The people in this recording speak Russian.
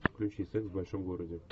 включи секс в большом городе